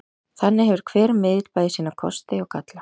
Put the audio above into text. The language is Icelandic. Þannig hefur hver miðill bæði sína kosti og galla.